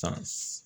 San